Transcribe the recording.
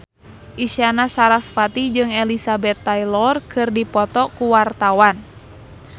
Isyana Sarasvati jeung Elizabeth Taylor keur dipoto ku wartawan